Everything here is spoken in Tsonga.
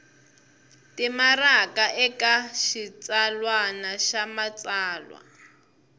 timaraka eka xitsalwana xa matsalwa